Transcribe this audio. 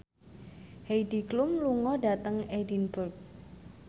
Heidi Klum lunga dhateng Edinburgh